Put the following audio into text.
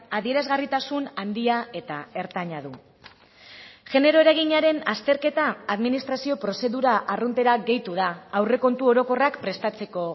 adierazgarritasun handia eta ertaina du genero eraginaren azterketa administrazio prozedura arruntera gehitu da aurrekontu orokorrak prestatzeko